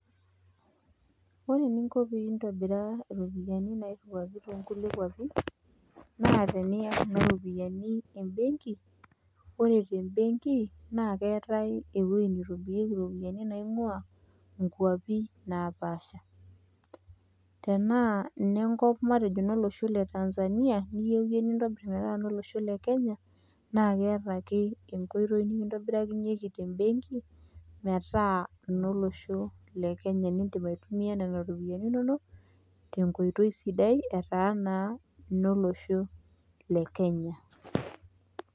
Ore eninko pee intobiraa iropiani nairiwuaki to nkulie kuapi naa teniya kuna ropiani embenki. Ore te mbenki naa keetai ewue nitobirieki iropiani naing'ua nkuapi napaasha. Tenaa ine nkop matejo inolosho le Tanzania, niyeu iye nintobir metaa inolosho le Kenya, naake eeta ake enkoitoi ninkitobirakinyeki te mbenki metaa inolosho le Kenya niindim aitumia nena ropiani inonok te nkoitoi sidai etaa naa inolosho le Kenya.